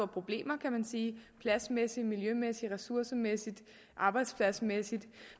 problemer kan man sige pladsmæssigt miljømæssigt ressourcemæssigt og arbejdspladsmæssigt